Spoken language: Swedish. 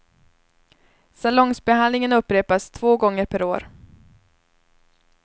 Salongsbehandlingen upprepas två gånger per år.